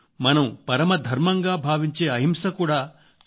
మనం పరమ ధర్మంగా భావించే అహింస కూడా ఖద్దర్ లోనే ఉంది